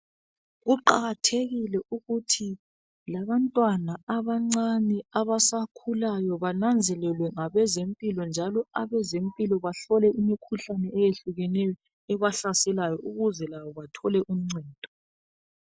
Kuwakathekile ukutji labantwana abancane abasakhulayo banenzelelwe ngabezempilo njalo abazempilo bahlole imikhuhlane eminengi ebahlaselayo ukuze labo bathole uncedo